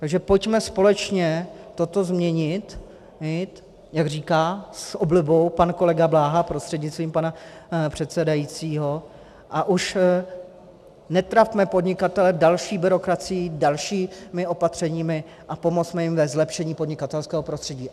Takže pojďme společně toto změnit, jak říká s oblibou pan kolega Bláha prostřednictvím pana předsedajícího, a už netrapme podnikatele další byrokracií, dalšími opatřeními a pomozme jim ve zlepšení podnikatelského prostředí.